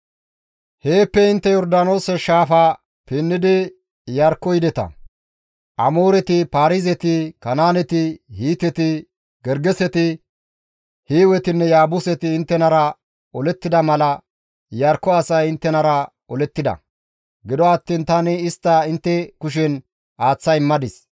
« ‹Heeppe intte Yordaanoose shaafa pinnidi Iyarkko yideta; Amooreti, Paarizeti, Kanaaneti, Hiiteti, Gergeseti, Hiiwetinne Yaabuseti inttenara olettida mala Iyarkko asay inttenara olettides; gido attiin tani istta intte kushen aaththa immadis.